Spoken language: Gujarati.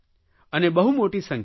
અને બહુ મોટી સંખ્યામાં